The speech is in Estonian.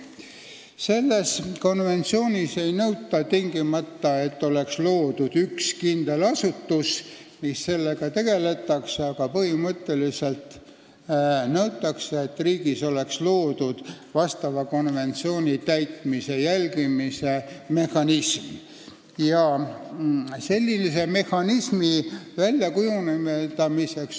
Selles konventsioonis ei nõuta, et tingimata peaks olema loodud üks kindel asutus, mis sellega tegeleks, aga põhimõtteliselt nõutakse, et riigis oleks loodud konventsiooni täitmise jälgimise mehhanism.